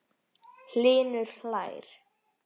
Hlynur hlær.